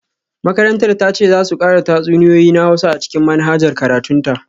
Makarantar ta ce za su kara tatsuniyoyi na Hausa a cikin manhajar karatun ta